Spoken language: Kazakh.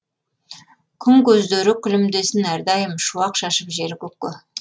күн көздері күлімдесін әрдайым шуақ шашып жер көкке